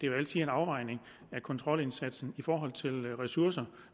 jo altid en afvejning af kontrolindsatsen i forhold til ressourcer